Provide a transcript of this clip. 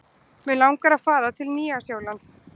Mig langar að fara til Nýja-Sjálands.